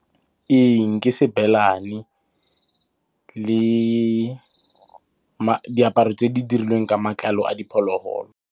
Ee, ke Sebelane le diaparo tse di dirilweng ka matlalo a diphologolo.